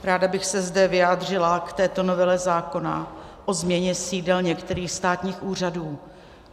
Ráda bych se zde vyjádřila k této novele zákona o změně sídel některých státních úřadů.